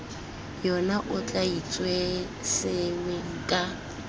yona o tla itsesewe ka